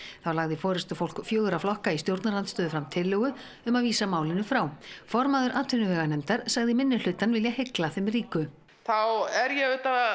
þá lagði forystufólk fjögurra flokka í stjórnarandstöðu fram tillögu um að vísa málinu frá formaður atvinnuveganefndar sagði minnihlutann vilja hygla þeim ríku þá er ég